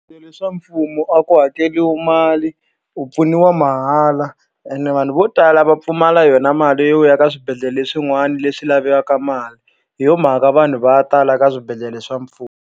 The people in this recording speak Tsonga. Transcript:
swa mfumo a ku hakeriwa mali u pfuniwa mahala ene vanhu vo tala va pfumala yona mali yo ya ka swibedhlele swin'wana leswi lavekaka mali hi yo mhaka vanhu va ya tala ka swibedhlele swa mfumo.